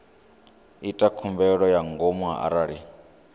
ita khumbelo ya ngomu arali